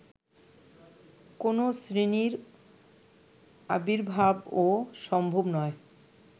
কোনো শ্রেণীর আবির্ভাবও সম্ভব নয়